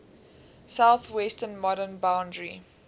southwestern modern boundary